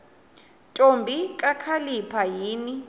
ntombi kakhalipha yini